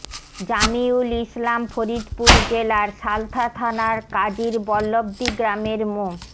জামিউল ইসলাম ফরিদপুর জেলার সালথা থানার কাজির বল্লবদি গ্রামের মো